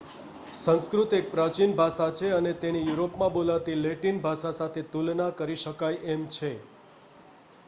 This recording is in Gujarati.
સંસ્કૃત એક પ્રાચીન ભાષા છે અને તેની યુરોપમાં બોલાતી લેટિન ભાષા સાથે તુલના કરી શકાય એમ છે